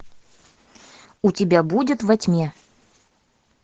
у тебя будет во тьме